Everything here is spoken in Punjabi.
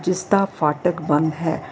ਇਸ ਦਾ ਫਾਟਕ ਬੰਦ ਹੈ।